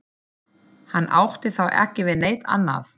Hann átti þá ekki við neitt annað.